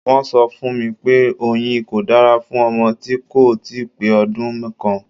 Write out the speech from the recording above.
Wọ́n sọ fún mi pé oyin kò dára fún ọmọ tí kò ì tíì pé ọdún kan.